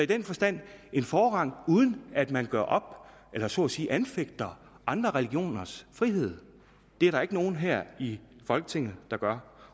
den forstand en forrang uden at man gør op eller så at sige anfægter andre religioners frihed det er der ikke nogen her i folketinget der gør